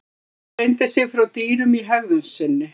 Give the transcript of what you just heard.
Maðurinn greindi sig frá dýrum í hegðun sinni.